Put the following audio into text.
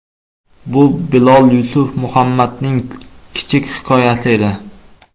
Bu Bilol Yusuf Muhammadning kichik hikoyasi edi.